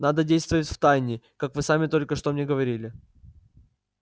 надо действовать втайне как вы сами только что мне говорили